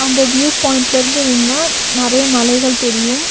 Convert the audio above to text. அந்த வியூவ் பாயிண்ட்ல இருந்து நின்னா நெறைய மலைகள் தெரியு.